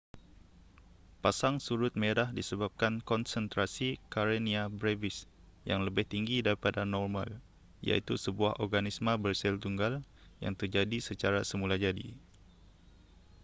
pasang surut merah disebabkan konsentrasi karenia brevis yang lebih tinggi daripada normal iaitu sebuah organisma bersel tunggal yang terjadi secara semulajadi